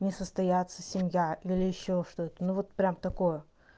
не состояться семья или ещё что-то ну вот прям такое